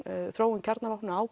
þróun kjarnavopna á